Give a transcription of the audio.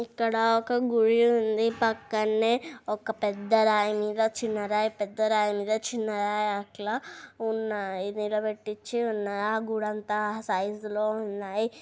ఇక్కడ ఒక గుడి వుంది పక్కనే ఒక పెద్ద రాయి మీద చిన్న రాయి పెద్ద రాయి మీద చిన్న రాయి అట్లా ఉన్నాయి నిలబెట్టిచి ఉన్నాయి ఆ గుడి అంత సైజ్ లో ఉన్నాయి --